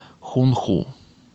хунху